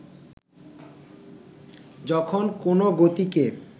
যখন কোনো গতিকে